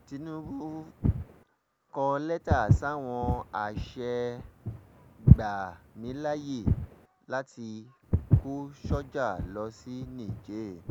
tinubu kọ lẹ́tà sáwọn àṣẹ gbà mí láàyè láti kó sọ́jà lọ sí niger